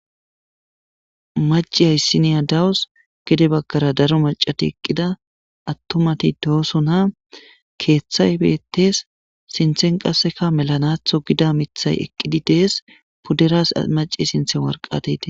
Macca issiniya dawusi gede bagara daro macat eqida atumat dosona keththay betees sinththen qasekka melanaththo gida miththay eqidi dees pudera sinththani macas wariqatay dees